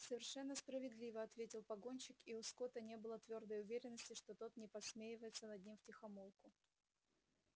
совершенно справедливо ответил погонщик и у скотта не было твёрдой уверенности что тот не подсмеивается над ним втихомолку